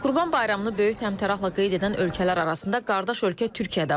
Qurban Bayramını böyük təmtərağla qeyd edən ölkələr arasında qardaş ölkə Türkiyə də var.